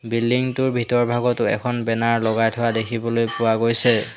Building টোৰ ভিতৰভাগতো এখন বেনাৰ লগাই থোৱা দেখিবলৈ পোৱা গৈছে।